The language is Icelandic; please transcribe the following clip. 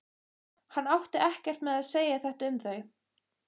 Hann átti ekkert með að segja þetta um þau.